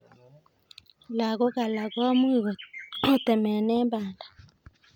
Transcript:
Lakok alak komuch kotemene banda.